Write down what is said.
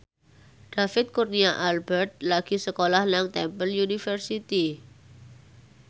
David Kurnia Albert lagi sekolah nang Temple University